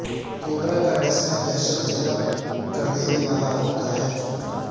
cobra کا ڈسنا دہشت زدہ کر دینے والا ہوتا ہے